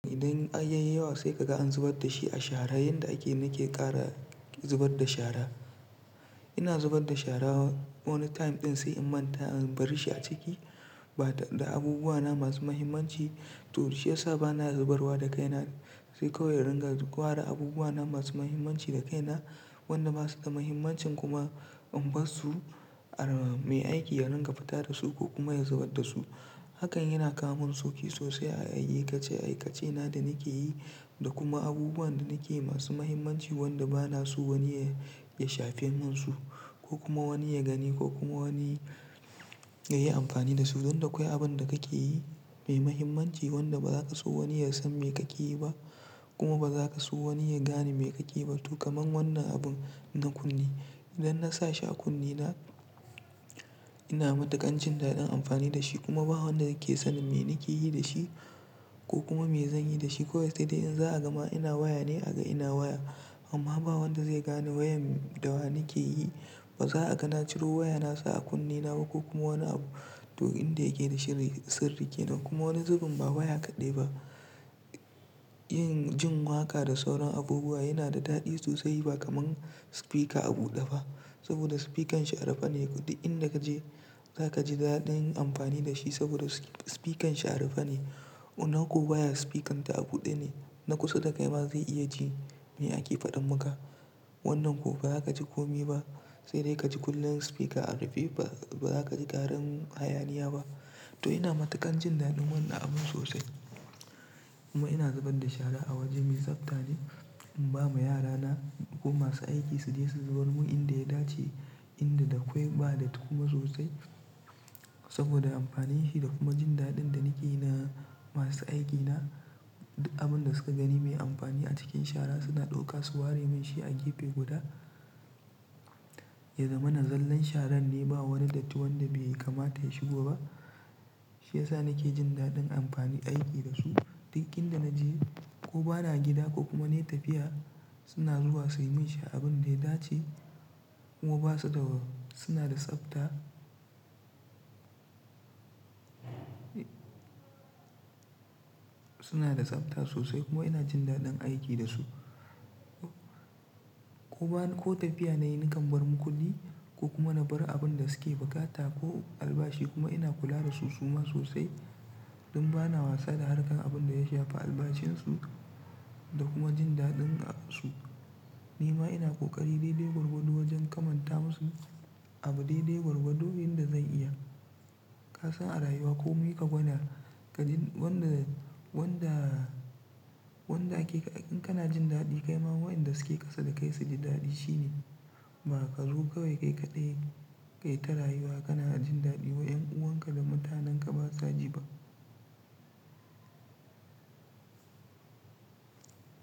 Idan ayayi yawa sai kaga an zubar da shi a shara. Yanda ake nake kara zubar da shara. Ina zubar da shara wani time ɗin sai in manta in bari shi a ciki. Ba da abubuwa na masu muhimmanci to shi yasa bana zubarwa da kaina sai kawai in ringa gwara abubuwa na masu muhimmanci da kaina. Wanda masu da muhimmancin kuma in bar su, mai aiki ya ringa fita da su ko kuma ya zubar da su. Hakan yana kawo min sauƙi sosai a ayyuka ce ayyukace na da nake yi da kuma abubuwan da nake yi masu muhimmanci wanda bana so wani ya, ya shafe min su ko kuma wani ya gani ko kuma wani ya yi amfani da su. Don da akwai abun da kake yi mai muhimmanci wanda baza ka so wani ya san me kake yi ba kuma baza ka so wani ya gane me kake yi ba. To kaman wannan abun na kunne. Idan nasa shi a kunne na, ina mataƙan jin daɗin amfani da shi kuma ba wanda yake san me nake yi da shi ko kuma me zan yi da shi. Kowai sai dai in za a gama ina waya ne a ga ina waya amma ba wanda zai gane wayan da wa nake yi. Ba za a gan na ciro waya nasa a kunne na ba ko kuma wani abu. To inda yake da shi sirri kenan kuma wani zubin ba waya kaɗai ba. Yin, jin waƙa da sauran abubuwa yana da daɗi sosai ba kamar spika a buɗe ba. Saboda spikan shi a rufe ne. Ko duk in da kaje zaka ji daɗin yin amfani da shi saboda spikan shi a rufe ne. Wannan ko waya spikan ta a buɗe ne na kusa da kai ba zai iya ji me ake faɗan maka. Wannan ko baza kaji komi ba sai dai kaji kullum spika a rufe ba, baza kaji ƙarin hayaniya ba. To ina mataƙan jin daɗin wannan abun sosai. Amma ina zubar da shara a waje mai tsafta ne in ba ma yara na ko masu aiki su je su zubar mun inda ya dace, inda da akwai ba datti kuma sosai. Saboda amfanin shi da kuma jin daɗin da nake yi na masu aiki na. Abun da suka gani mai amfani a cikin shara suna ɗauka su ware mun shi a gefe guda ya zama na zallan sharan ne ba wani datti wanda bai kamata ya shigo ba. Shi yasa nake jin daɗin amfanin aiki da su. Duk inda na je ko bana gida ko kuma na yi tafiya suna zuwa suyi mun shi abun da ya dace kuma suna da tsafta. Suna da tsafta sosai kuma ina jin daɗin aiki da su. Kuma ko tafiya nayi na kam bar makulli ko kuma na bar abun da su ke buƙata ko albashi kuma ina kula da su suma sosai don bana wasa da harkar abin da ya shafi albashin su da kuma jin daɗin su. Ni ma ina ƙoƙari dai-dai gwargwardo wajan kamatanta musu abu dai-dai gwarzo wurin da zan iya. Ka san a rayuwa komi ka gwanar ka jin wanda, wanda, wanda kake in kana jin daɗi kai ma waƴanda su ke ƙasa da kai su ji daɗi shine. Ba ka zo kawai kai kaɗai kayi ta rayuwa kana jin daɗi wai ƴan uwan ka da mutanen ka basa ji ba.